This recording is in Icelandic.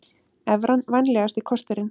Evran vænlegasti kosturinn